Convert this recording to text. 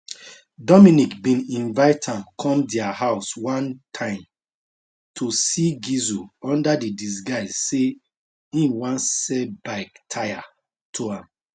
dominique bin invite am come dia house one time to see gisle under di disguise say im wan sell bike tyre to am